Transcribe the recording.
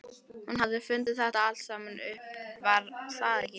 Hún hafði fundið þetta allt saman upp, var það ekki?